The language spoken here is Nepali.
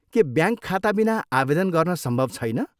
के ब्याङ्क खाताबिना आवेदन गर्न सम्भव छैन?